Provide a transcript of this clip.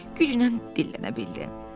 Uşaq güclə dillənə bildi.